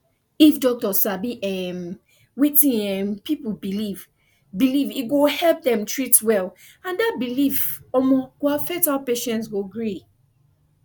if doctor sabi um wetin um people believe believe e go help dem treat well and that belief um go affect how patient go gree